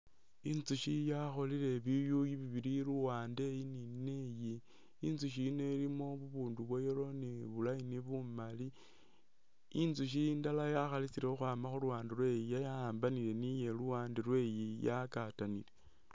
Intsukhi yakholele biyuyi bibili liwande iyi ni neyi intsukhi ino ilimo bubindu bwa yellow ni bu line bumali intsukhi indala yakhalisile ukhama khuluwande lweyi yawambanile ni iye luwande lweyi yagatanile .